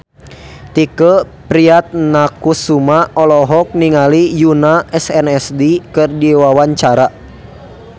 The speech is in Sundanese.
Tike Priatnakusuma olohok ningali Yoona SNSD keur diwawancara